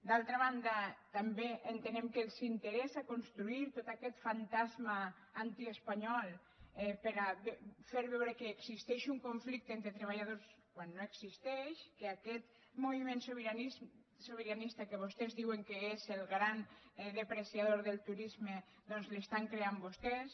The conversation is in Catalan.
d’altra banda també entenem que els interessa construir tot aquest fantasma antiespanyol per a fer veure que existeix un conflicte entre treballadors quan no existeix que aquest moviment sobiranista que vostès diuen que és el gran depreciador del turisme doncs l’estan creant vostès